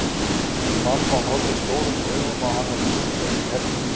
Mamma horfði stórum augum á hana strunsa inn í herbergið sitt.